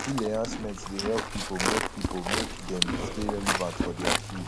skill enhancement dey help pipo make pipo make dem stay relevant for their field